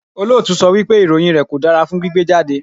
Olóòtú sọ wípé ìròyìn rẹ̀ kò dára fún gbígbé jáde.